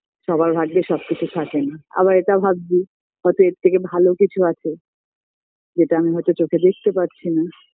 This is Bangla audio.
সবার ভাগ্যে সবকিছু থাকে না আবার এটা ভাবছি হয়তো এর থেকে ভালো কিছু আছে যেটা আমি হয়তো চোখে দেখতে পারছি না